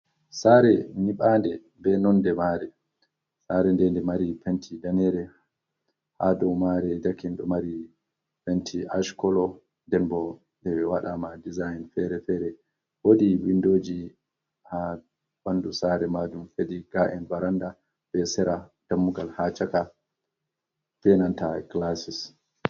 Saare nyiɓanɗe be nonde mare saare nden de mari penti danere ha dou mare dakin ɗo mari penti ashkolo ɗen ɓo nde waɗama dizain fere fere wodi windoji ha bandu saare majum fedi ga'en veranda be sera dammugal ha chaka ɓenanta gilasis.